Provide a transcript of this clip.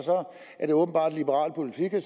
er det åbenbart liberal politik at